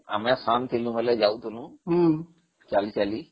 ଆମେ ସାନ ଥିଲା ବେଳେ ଯାଉଥିଲୁ ଚାଲି ଚାଲି